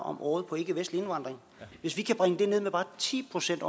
om året på ikkevestlig indvandring hvis vi kan bringe det ned med bare ti procent